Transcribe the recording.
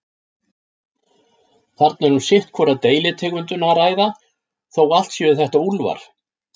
Þarna er um sitt hvora deilitegundina að ræða, þó allt séu þetta úlfar.